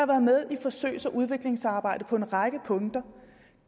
været med i forsøgs og udviklingsarbejdet på en række punkter